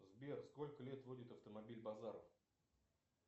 сбер сколько лет водит автомобиль базаров